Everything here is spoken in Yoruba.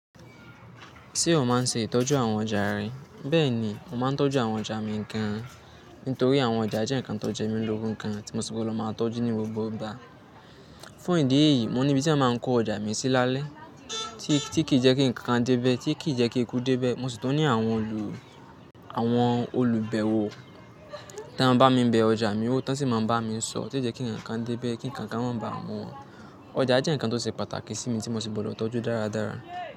Ṣé o máa ń ṣe ìtọ́jú àwọn ọjà rẹ? Bẹ́ẹ̀ni, mo máa ń tọ́jú àwọn ọjà mi nìkan, nítorí àwọn ọjà jẹ́ ǹkan tó jẹ́ mi lórú kan tí mo sì gbọdọ̀ máa tọ́jú ní gbogbo ìgbà. Fún ìdí èyí, mo ní ibi tí a máa ń kó ọjà mi sí lálẹ́ tí kì í jẹ́ kí ǹkan dé bẹ́, tí kì í jẹ́ kí e kú dé bẹ́. Mo sì tọ́ni àwọn olùbẹ̀wọ̀ táa ń bá mi bẹ ọjà mi wò, táa sì máa ń bá mi sọ̀ tí jẹ́ kí ǹkan dé bẹ́, kí ǹkan máa ba à mọ́ wọn. Ọjà jẹ́ ǹkan tó ṣe pàtàkì sí mi tí mo sì gbọdọ̀ tọ́jú dáradára.